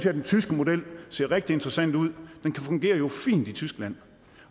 at den tyske model ser rigtig interessant ud den fungerer jo fint i tyskland